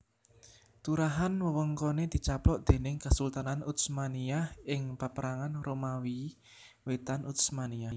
Turahan wewengkone dicaplok déning Kesultanan Utsmaniyah ing Paperangan Romawi Wétan Utsmaniyah